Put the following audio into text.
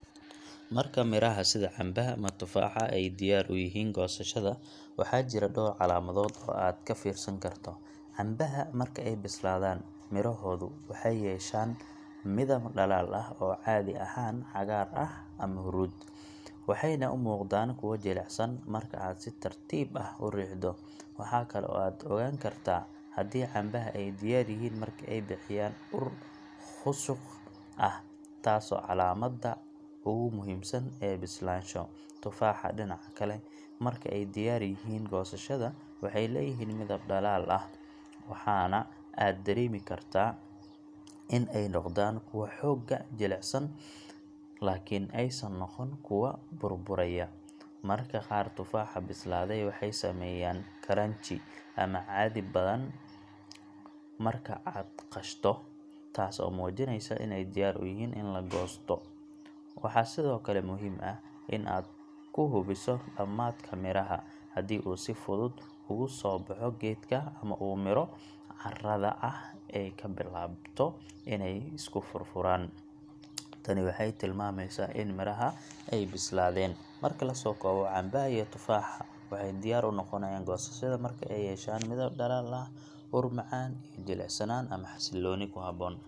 Marka miraha sida cambaha ama tufaaxa ay diyaar u yihiin goosashada, waxaa jira dhowr calaamadood oo aad ka fiirsan karto. Cambaha marka ay bislaadaan, midhahoodu waxay yeeshaan midab dhalaal ah oo caadi ahaan cagaar ama huruud, waxayna u muuqdaan kuwo jilicsan marka aad si tartiib ah u riixdo. Waxa kale oo aad ogaan kartaa haddii cambaha ay diyaar yihiin marka ay bixiyaan ur khushuq ah, taas oo ah calaamadda ugu muhiimsan ee bislaansho. Tufaaxa, dhinaca kale, marka ay diyaar yihiin goosashada, waxay leeyihiin midab dhalaal ah, waxaana aad dareemi kartaa in ay noqdaan kuwo xoogaa jilicsan, laakiin aysan noqon kuwo burburaya. Mararka qaar tufaaxa bislaaday waxay sameeyaan crunchy ama caddi badan marka aad qashto, taas oo muujinaysa inay diyaar u yihiin in la goosado. Waxaa sidoo kale muhiim ah in aad ku hubiso dhammaadka miraha; haddii uu si fudud ugu soo baxo geedka ama uu midho caarada ahi ay ka bilaabato inay isku furfuraan, tani waxay tilmaamaysaa in miraha ay bislaadeen. Marka la soo koobo, cambaha iyo tufaaxa waxay diyaar u noqonayaan goosashada marka ay yeeshaan midab dhalaal ah, ur macaan, iyo jilicsanaan ama xasillooni ku habboon.